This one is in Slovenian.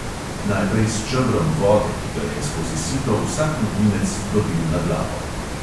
Najprej s čebrom vode, ki ga je skozi sito vsak novinec dobil na glavo.